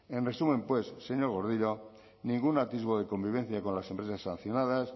en resumen pues señor gordillo ningún atisbo de convivencia con las empresas sancionadas